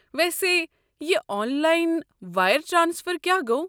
ویسے، یہِ online wire transfer کیٛاہ گوٚو؟